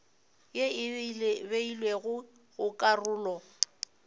ye e beilwego go karolo